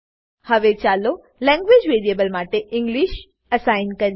હવે ચાલો language variable માટે ઇંગ્લિશ એસાઈન કરીએ